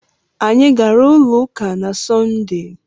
Anyị gaara ụlọ ụka na Sọnde.